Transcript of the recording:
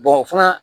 o fana